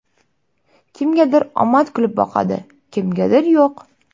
Kimgadir omad kulib boqadi, kimgadir yo‘q.